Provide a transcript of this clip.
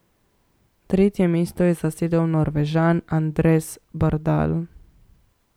Tretje mesto je zasedel Norvežan Anders Bardal.